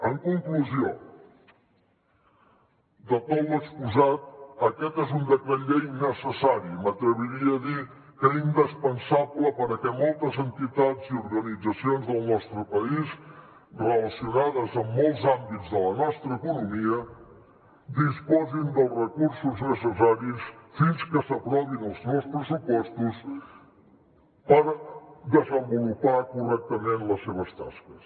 en conclusió de tot l’exposat aquest és un decret llei necessari i m’atreviria a dir que indispensable perquè moltes entitats i organitzacions del nostre país relacionades amb molts àmbits de la nostra economia disposin dels recursos necessaris fins que s’aprovin els nous pressupostos per desenvolupar correctament les seves tasques